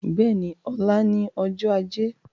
Bẹ́ẹ̀ni, ọ̀la ni ọjọ́ ajé